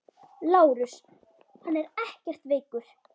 LÁRUS: Hann er ekkert veikur.